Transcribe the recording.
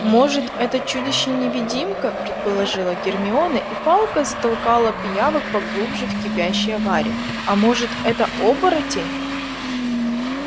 может это чудище-невидимка предположила гермиона и палкой затолкала пиявок поглубже в кипящее варево а может это оборотень